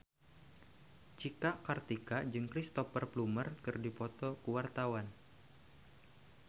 Cika Kartika jeung Cristhoper Plumer keur dipoto ku wartawan